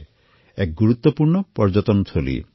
ই এক গুৰুত্বপূৰ্ণ পৰ্যটনস্থলী